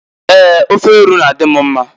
Ee! Ofe eru na- adị m mma.